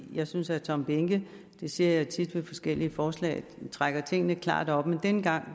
jeg synes herre tom behnke det siger jeg tit ved forskellige forslag trækker tingene klart op denne gang